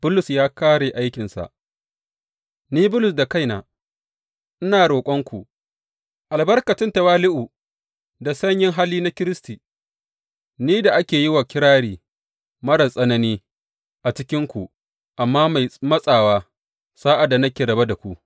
Bulus ya kāre aikinsa Ni Bulus da kaina, ina roƙonku albarkacin tawali’u da sanyin hali na Kiristi, ni da ake yi wa kirari marar tsanani a cikinku, amma mai matsawa sa’ad da nake rabe da ku!